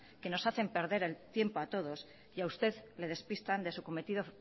que nos hacen perder el tiempo a todos y a usted le despistan de su cometido